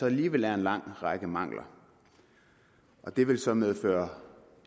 alligevel en lang række mangler det vil så medføre